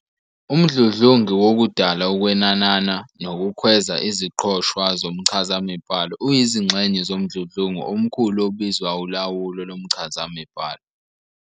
Umdludlungu wokudala, ukwenanana, nokukhweza iziqoshwa zomchazamibhalo uyizingxenye zomdludlungu omkhulu obizwa ulawulo lomchazamibhalo.